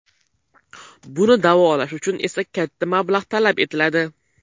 Buni da’volash uchun esa katta mablag‘ talab etiladi.